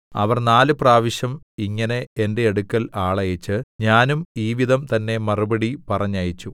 അവർ നാല് പ്രാവശ്യം ഇങ്ങനെ എന്റെ അടുക്കൽ ആളയച്ച് ഞാനും ഈ വിധം തന്നെ മറുപടി പറഞ്ഞയച്ചു